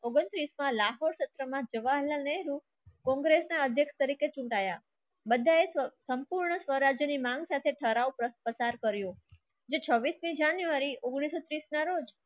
ઓગણતીસ કલાકે કોંગ્રેસના અધ્યક્ષ તરીકે ચૂંટાયા બધાએ સંપૂર્ણ સ્વરાજ્યની માંગ સાથે ઠરાવો પસાર કર્યો. જે છબ્બીસ જાન્યુઆરી ઉંગ્નીસ સો તીસ ના રોજ